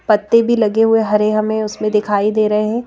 पत्ते भी लगे हुए हरे हमें उसमें दिखाई दे रहे हैं।